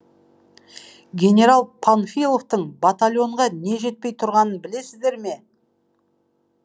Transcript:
генерал панфиловтың батальонға не жетпей тұрғанын білесіздер ме